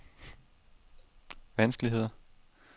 vanskeligheder